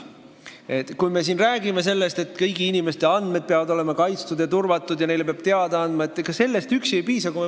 Sellest muretsemisest ja siin rääkimisest, et kõigi inimeste andmed peavad olema kaitstud ja turvatud ning neile peab kõigest teada andma, üksi ei piisa.